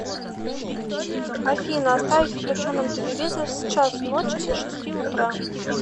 афина оставить включенным телевизор с часу ночи до шести утра